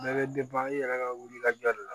Bɛɛ bɛ i yɛrɛ ka wulikajɔ de la